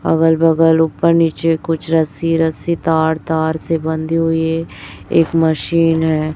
अगल बगल ऊपर नीचे कुछ रस्सी रस्सी तार तार से बंधी हुई है एक मशीन है